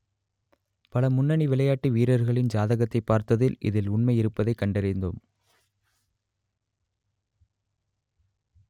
பல முன்னணி விளையாட்டு வீரர்களின் ஜாதகத்தைப் பார்த்ததில் இதில் உண்மை இருப்பதை கண்டறிந்தோம்